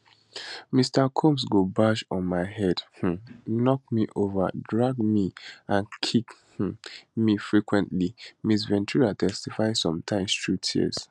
mr combs go bash on my head um knock me over drag me and kick um me frequently ms ventura testify sometimes through tears